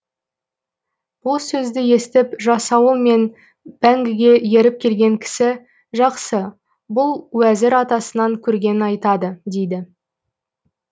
бұл сөзді естіп жасауыл мен бәңгіге еріп келген кісі жақсы бұл уәзір атасынан көргенін айтады дейді